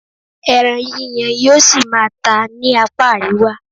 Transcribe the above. Ẹran yíyan yóò ṣì máa tà ní apá àríwá.